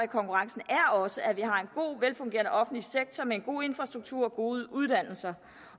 konkurrencen er også at vi har en god velfungerende offentlig sektor en god infrastruktur og gode uddannelser